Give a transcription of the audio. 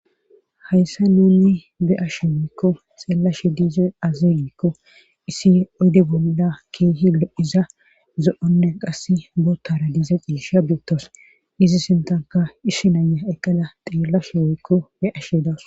Hayssa nuni be ashe giikko xeellashe diize azi giikko issi oyde bolda keehi lo7iza zo7onne qass bootara diiza ciisha biettos izi sintanka ishshinaya eqqala xiellasho woykko he ashe dawus